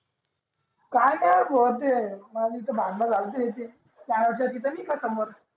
काय नाही भो ते त्या दिशी भांडण झालते समोर